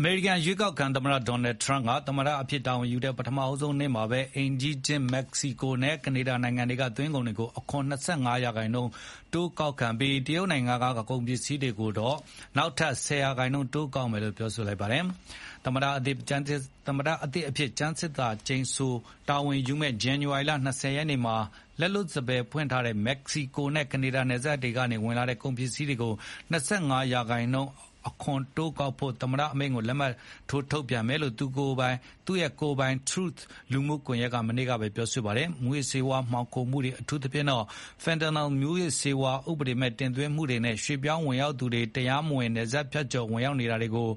အမေရိကန် ရွေးကောက်ခံသမ္မတ Donald Trump က သမ္မတအဖြစ် တာဝန်ယူတဲ့ ပထမဆုံးနေ့မှာ အိမ်နီးချင်း မက္ကစီကိုနဲ့ ကနေဒါနိုင်ငံတွေက သွင်းကုန်တွေကို အခွန် ၂၅ ရာခိုင်နှုန်း တိုးကောက်ပြီး၊ တရုတ်နိုင်ငံက ကုန်ပစ္စည်းတွေကိုတော့ နောက်ထပ် ၁၀ ရာခိုင်နှုန်းတိုးကောက်မယ်လို့ ပြောလိုက်ပါတယ်။ သမ္မတသစ်အဖြစ် ကျမ်းသစ္စာကျိန်ဆို တာဝန်ယူမယ့် ဇန်နဝါရီလ ၂၀ ရက်နေ့မှာ လက်လွတ်စပယ်ဖွင့်ထားတဲ့ မက္ကစီကိုနဲ့ ကနေဒါ နယ်စပ်တွေကနေ ဝင်လာမယ့် ကုန်တွေကို ၂၅ ရာခိုင်နှုန်း အခွန်တိုးကောက်ဖို့ သမ္မတအမိန့်ကို လက်မှတ်ထိုး ထုတ်ပြန်မယ်လို့ သူ့ကိုယ်ပိုင် Truth လူမှုကွန်ရက်မှာ မနေ့ကပဲ ပြောလိုက်တာပါ။ မူးယစ်ဆေးဝါး မှောင်ခိုမှုတွေ အထူးသဖြင့် fentanyl မူးယစ်ဆေးဝါး ဥပဒေမဲ့ တင်သွင်းမှုတွေနဲ့ ရွှေ့ပြောင်းဝင်ရောက်သူတွေ တရားမဝင် နယ်စပ်ဖြတ်ကျော် ဝင်ရောက်နေတာတွေကို